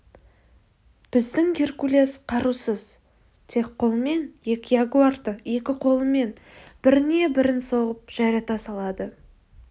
біздің геркулес қарусыз тек қолмен екі ягуарды екі қолымен біріне бірін соғып жайрата салады